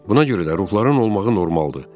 Buna görə də ruhların olmağı normaldır.